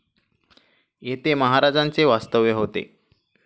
येथे महाराजांचे वास्तव्य होते.